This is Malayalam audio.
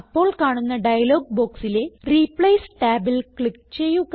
അപ്പോൾ കാണുന്ന ഡയലോഗ് ബോക്സിലെ റിപ്ലേസ് ടാബിൽ ക്ലിക്ക് ചെയ്യുക